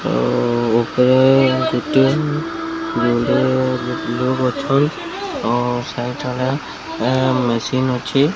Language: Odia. ଆଉ ଉପରେ ଗୋଟିଏ ବୁଢ଼ୀ ଅଛନ୍ ଆଉ ସେଇଠାରେ ମେସିନ୍ ଅଛି।